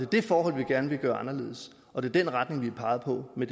det forhold vi gerne vil gøre anderledes og det er den retning vi har peget på med